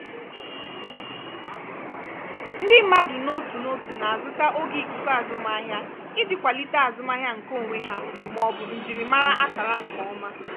ndị mmadụ n'otu n'otu na-azụta oge ikuku azụmahịa iji kwalite azụmahịa nkeonwe ha maọbụ njirimara akara nke ọma.